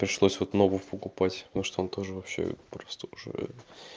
пришлось вот новый покупать потому что он тоже вообще просто уже